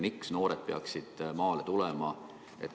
Miks noored peaksid maale tulema?